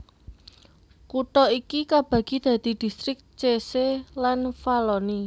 Kutha iki kabagi dadi distrik Cese lan Valloni